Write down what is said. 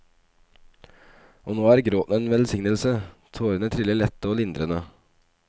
Og nå er gråten en velsignelse, tårene triller lette, lindrende.